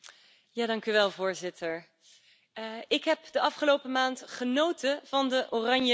Voorzitter, ik heb de afgelopen maand genoten van de Oranjeleeuwinnen.